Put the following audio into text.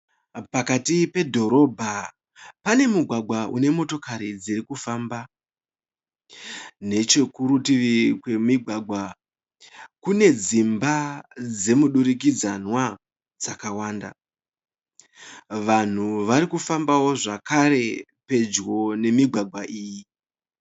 Pakati pedhorobha pane mugwagwa une motokari dzirikufamba. Nechekurutivi kwemigwagwa kune dzimba dzemu durikidzanwa dzakawanda. Vanhu varikufambawo zvekare pedyo nemigwagwa iyi.